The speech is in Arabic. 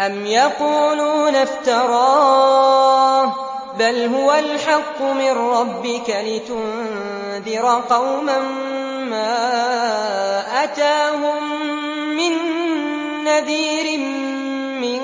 أَمْ يَقُولُونَ افْتَرَاهُ ۚ بَلْ هُوَ الْحَقُّ مِن رَّبِّكَ لِتُنذِرَ قَوْمًا مَّا أَتَاهُم مِّن نَّذِيرٍ مِّن